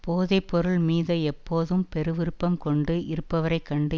போதை பொருள் மீத எப்போதும் பெருவிருப்பம் கொண்டு இருப்பவரை கண்டு